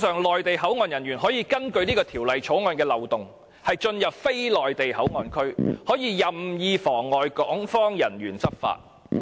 內地口岸人員因為《條例草案》的漏洞，可以進入非內地口岸區，更可以任意妨礙港方人員執法。